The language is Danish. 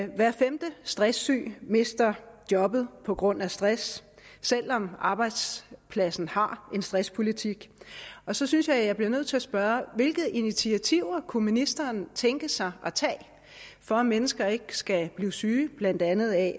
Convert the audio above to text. hver femte stresssyg mister jobbet på grund af stress selv om arbejdspladsen har en stresspolitik så synes jeg jeg bliver nødt til at spørge hvilke initiativer kunne ministeren tænke sig at tage for at mennesker ikke skal blive syge af blandt andet at